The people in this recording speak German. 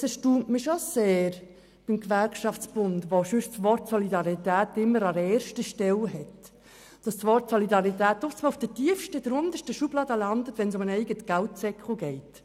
Es erstaunt mich schon sehr, dass beim Gewerkschaftsbund die Solidarität – dieses Wort steht bei ihm sonst immer an erster Stelle – in der untersten Schublade landet, wenn es um den eigenen Geldsäckel geht.